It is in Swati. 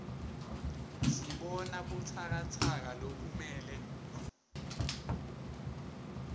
sibona butsakatsaka lokumele